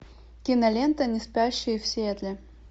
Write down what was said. кинолента неспящие в сиэтле